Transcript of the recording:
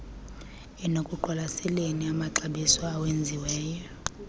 ekuqwalaseleni amaxabiso awenziwe